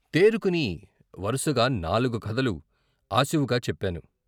తేరుకుని వరసగా నాలుగు కథలు ఆసివుగా చెప్పాను.